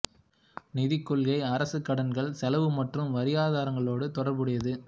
நிதிக் கொள்கை அரசு கடன்கள் செலவு மற்றும் வரியாதாரங்களோடு தொடர்புடையது